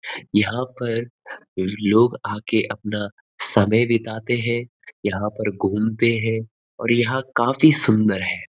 यहाँ पर लोग आके अपना समय बिताते हैं यहाँ पर घूमते हैं और यहाँ काफी सुंदर है।